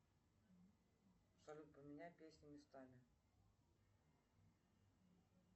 салют поменяй песни местами